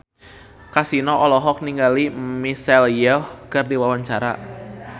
Kasino olohok ningali Michelle Yeoh keur diwawancara